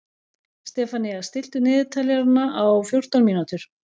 Stefanía, stilltu niðurteljara á fjórtán mínútur.